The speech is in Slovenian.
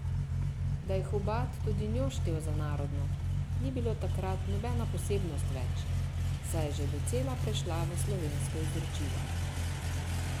Da je Hubad tudi njo štel za narodno, ni bilo takrat nobena posebnost več, saj je že docela prešla v slovensko izročilo.